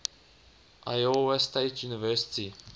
iowa state university